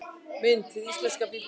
Mynd: Hið íslenska Biblíufélag